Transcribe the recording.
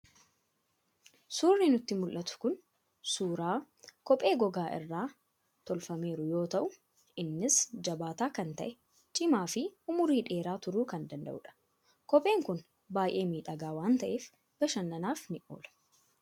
Suurri nutti mul'atu kun suuraa kophee gogaa irraa tolfameeru yoo ta'u, innis jabaataa kan ta'e, cimaa fi umurii dheeraa turuu kan danda'udha. Kopheen kun baay'ee miidhagaas waan ta'eef, bashannanaaf ni oola.